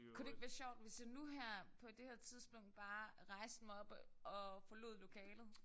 Kunne det ikke være sjovt hvis jeg nu herpå det her tidspunkt bare rejste mig op og og forlod lokalet